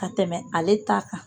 Ka tɛmɛ ale ta kan.